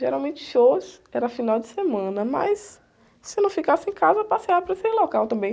Geralmente shows, era final de semana, mas se eu não ficasse em casa, passeava por esses local também.